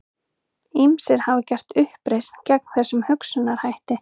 Ýmsir hafa gert uppreisn gegn þessum hugsunarhætti.